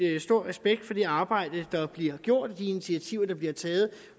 stor respekt for det arbejde der bliver gjort og de initiativer der bliver taget